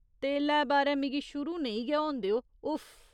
तेलै बारै मिगी शुरू नेई गै होन देओ , उफ्फ।